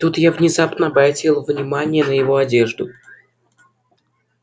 тут я внезапно обратила внимание на его одежду